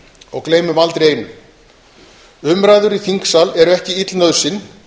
og gleymum aldrei einu umræður í þingsal eru ekki ill nauðsyn